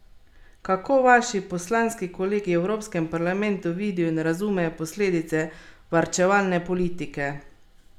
Kako vaši poslanski kolegi v evropskem parlamentu vidijo in razumejo posledice varčevalne politike?